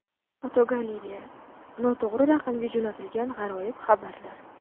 Fotogalereya: Noto‘g‘ri raqamga jo‘natilgan g‘aroyib xabarlar.